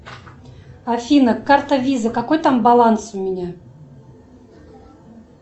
афина карта виза какой там баланс у меня